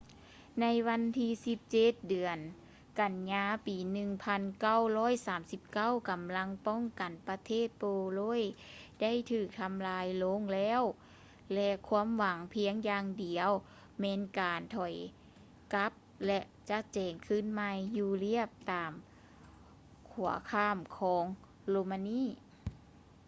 ໃນວັນທີ 17 ເດືອນ ກັນຍາ ປີ 1939 ກຳລັງປ້ອງກັນປະເທດໂປໂລຍໄດ້ຖືກທຳລາຍລົງແລ້ວ ແລະ ຄວາມຫວັງພຽງຢ່າງດຽວແມ່ນການຖອຍກັບ ແລະ ຈັດແຈງຄືນໃໝ່ຢູ່ລຽບຕາມຂົວຂ້າມຂອງໂຣມານີ